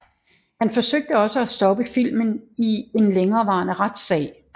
Han forsøgte også at stoppe filmen i en længerevarende retsag